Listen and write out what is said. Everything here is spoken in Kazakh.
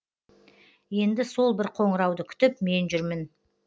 енді сол бір қоңырауды күтіп мен жүрмін